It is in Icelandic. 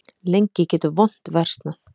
Lengi getur vont versnað.